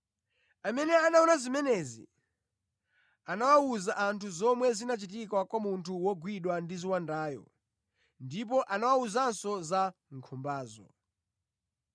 Amene anaona zimenezi anawuza anthu zomwe zinachitika kwa munthu wogwidwa ndi ziwandayo ndipo anawawuzanso za nkhumbazo.